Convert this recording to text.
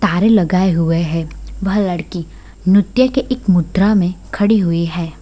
तारें लगाए हुए है वह लड़की नृत्य के एक मुद्रा में खड़ी हुई है।